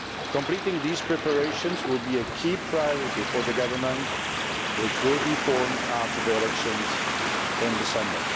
Completing these preparations will be a key priority for the government which will be formed after the elections in December.